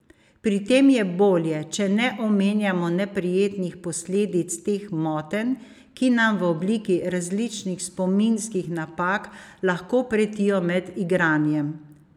Pri tem je bolje, če ne omenjamo neprijetnih posledic teh motenj, ki nam v obliki različnih spominskih napak lahko pretijo med igranjem.